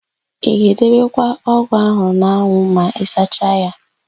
Ị ga-edebekwa ọ́gụ̀ áhụ̀ n'anwụ ma ịsacha ya?